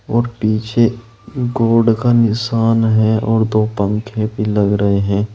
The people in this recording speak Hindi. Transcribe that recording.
और पीछे गॉड का निशान है और दो पंखे भी लग रहे हैं।